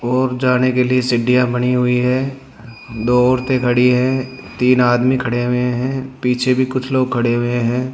और जाने के लिए सीढ़ियां बनी हुई है दो औरतें खड़ी है तीन आदमी खड़े हुए हैं पीछे भी कुछ लोग खड़े हुए हैं।